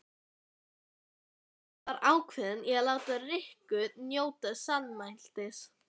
Lilla var ákveðin í að láta Rikku njóta sannmælis.